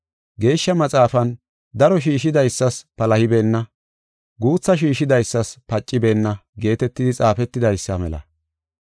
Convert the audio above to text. Geeshsha Maxaafan, “Daro shiishidaysas palahibeenna; guutha shiishidaysas pacibeenna” geetetidi xaafetidaysa mela.